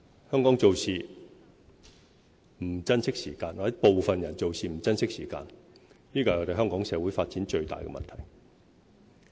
香港做事不珍惜時間，或者部分人做事不珍惜時間，這是香港社會發展最大的問題。